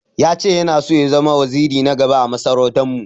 Ya che Yana son ya zama waziri na gaba ã masarautan mu.